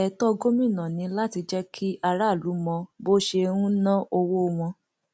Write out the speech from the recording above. ètò gómìnà ni láti jẹ kí aráàlú mọ bó ṣe ń ná owó wọn